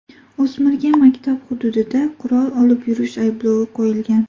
O‘smirga maktab hududida qurol olib yurish ayblovi qo‘yilgan.